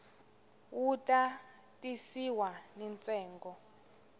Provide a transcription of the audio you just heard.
wu ta tisiwa ni ntsengo